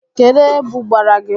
Kedụ ebu gbara gị?